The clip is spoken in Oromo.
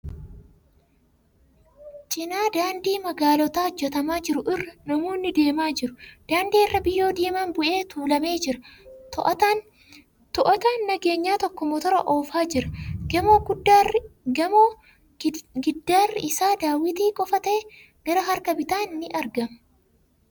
Cinaa daandii magaalotaa hojjatamaa jiru irra namoonni deemaa jiru. Daandii irra biyyoo diimaan bu'ee tuulamee jira. Too'ataan nageenyaa tokko motora oofaa jira. Gamoo giddaarri isaa daawwitii qofa ta'e gara harka bitaan ni argama.